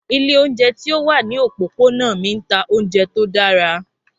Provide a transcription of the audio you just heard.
Ilé oúnjẹ ti o wa ni opopona mi n ta ounjẹ to dara.